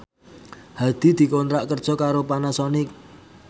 Hadi dikontrak kerja karo Panasonic